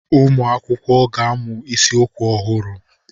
Ụmụ akwụkwọ ga-amụ isiokwu ọhụrụ.